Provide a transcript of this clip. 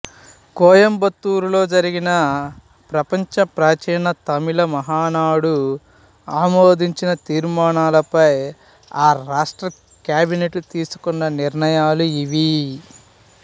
కోయంబత్తూరులో జరిగిన ప్రపంచ ప్రాచీన తమిళ మహానాడు ఆమోదించిన తీర్మానాలపై ఆ రాష్ట్ర క్యాబినెట్ తీసుకున్ననిర్ణయాలు ఇవి